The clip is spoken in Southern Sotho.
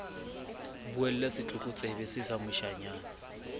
buella setlokotsebe see sa moshanyana